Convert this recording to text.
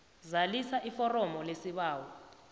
zalisa iforomo lesibawo